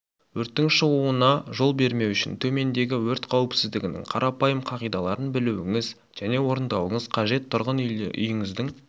өрттің шығуына жол бермеу үшін төмендегі өрт қауіпсіздігінің қарапайым қағидаларын білуіңіз және орындауыңыз қажет тұрғын үйіңіздің